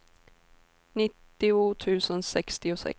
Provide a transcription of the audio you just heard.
nittio tusen sextiosex